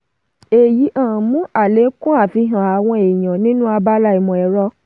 èyí um mú àlékún àfihàn àwọn èèyàn nínú abala ìmọ̀-ẹ̀rọ.